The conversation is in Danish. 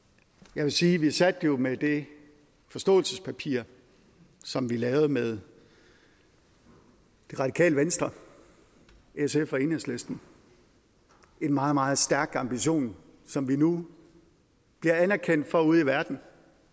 jeg vil sige at vi satte jo med det forståelsespapir som vi lavede med det radikale venstre sf og enhedslisten en meget meget stærk ambition som vi nu bliver anerkendt for ude i verden